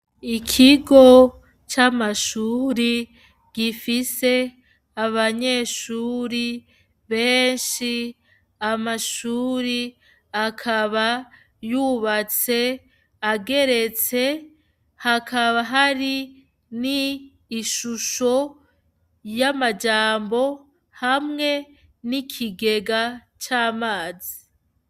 Ikigo c'amashure gifise abanyeshure benshi, amashure akaba yubatse ageretse hakaba hari n'ishusho y'amajambo hamwe n'ikigega c'amazi.